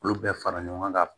Olu bɛɛ fara ɲɔgɔn kan